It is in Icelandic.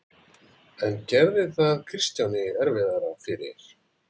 En gerði það Kristjáni erfiðara fyrir?